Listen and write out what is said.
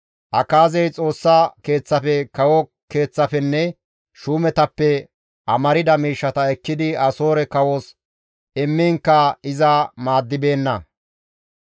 Akaazey Xoossa Keeththafe, kawo keeththafenne shuumetappe amarda miishshata ekkidi Asoore kawos immiinkka iza maaddibeenna.